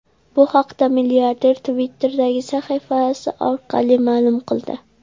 Bu haqda milliarder Twitter’dagi sahifasi orqali ma’lum qildi .